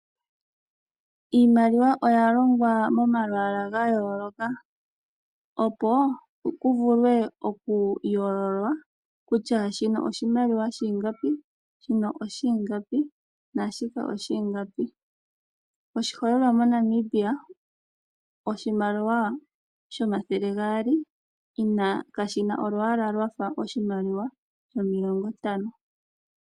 Iimaliwa oya longwa momalwaala ga yooloka, opo ku vule oku yoololwa kutya shino oshimaliwa shiingapi, shino oshiingapi naashika oshiingapi. Oshiholelwa moNamibia oshimaliwa shomathele gaali kashi na olwaala lwafa oshimaliwa shomilongo ntano.